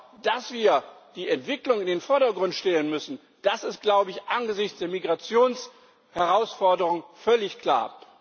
Aber dass wir die Entwicklung in den Vordergrund stellen müssen, das ist angesichts der Migrationsherausforderung völlig klar.